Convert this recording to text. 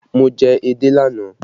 Mo jẹ edé lánàá